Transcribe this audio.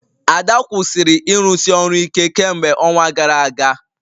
Ada kwụsịrị ịrụsi ọrụ ike kemgbe ọnwa gara aga